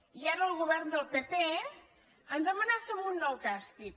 i ara el govern del pp ens amenaça amb un nou càs·tig